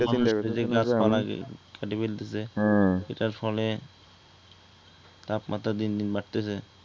মানুষ চিন্তাকরতেসি গাছপালাকে কাটি ফেলতেছে হ্যা এইটার ফলে তাপমাত্রা দিন দিন বাড়তেসে